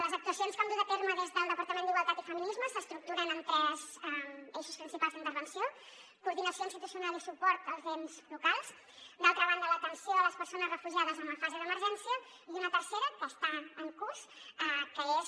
les actuacions que hem dut a terme des del departament d’igualtat i feminismes s’estructuren en tres eixos principals d’intervenció coordinació institucional i suport als ens locals d’altra banda l’atenció a les persones refugiades en la fase d’emergència i una tercera que està en curs que és